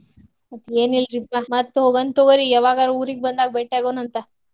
ಮತ್ತ್ ಏನ್ ಇಲ್ರಿಪಾ ಮತ್ತ್ ಹೋಗೋನ ತಗೋರಿ ಯವಾಗಾರು ಊರಿಗ್ ಬಂದಾಗ ಬೆಟ್ಟಿ ಆಗೋನ ಅಂತ.